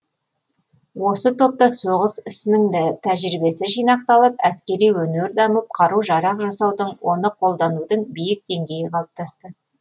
осы топта соғыс ісінің тәжірибесі жинақталып әскери өнер дамып қару жарақ жасаудың оны қолданудың биік деңгейі қалыптасты